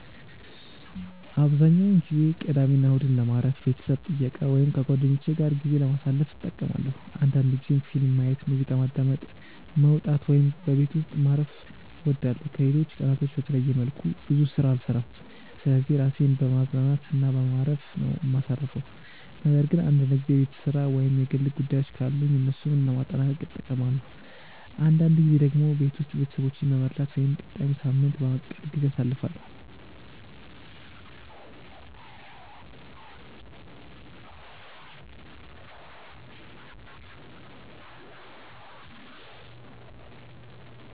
አብዛኛውን ጊዜ ቅዳሜና እሁድን ለማረፍ፣ ቤተሰብ ጥየቃ ወይም ከጓደኞቼ ጋር ጊዜ ለማሳለፍ እጠቀማለሁ አንዳንድ ጊዜም ፊልም ማየት፣ ሙዚቃ ማዳመጥ፣ መውጣት ወይም በቤት ውስጥ ማረፍ እወዳለሁ። ከሌሎች ቀናቶች በተለየ መልኩ ብዙ ስራ አልሰራም ስለዚህ ራሴን በማዝናናት እና በማረፍ ነው ማሳርፈው ነገር ግን አንዳንድ ጊዜ የቤት ስራ ወይም የግል ጉዳዮችን ካሉኝ እነሱን ለማጠናቀቅም እጠቀማለሁ። አንዳንድ ጊዜ ደግሞ ቤት ውስጥ ቤተሰቦቼን በመርዳት ወይም ቀጣዩን ሳምንት በማቀድ ጊዜ አሳልፋለሁ።